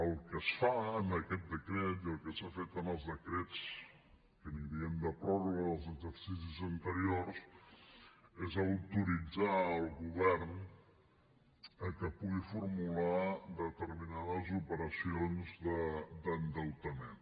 el que es fa en aquest decret i el que s’ha fet en els decrets que en diem de pròrroga dels exercicis anteriors és autoritzar el govern a que pugui formular determinades operacions d’endeutament